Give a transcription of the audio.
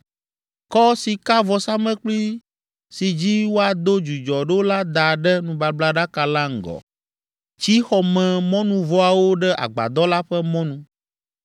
“Kɔ sikavɔsamlekpui si dzi woado dzudzɔ ɖo la da ɖe nubablaɖaka la ŋgɔ. Tsi xɔmemɔnuvɔawo ɖe agbadɔ la ƒe mɔnu,